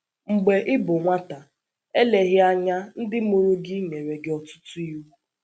MGBE ị bụ nwata, eleghị anya ndị mụrụ gị nyere gị ọtụtụ iwu.